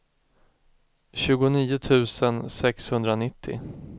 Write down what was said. tjugonio tusen sexhundranittio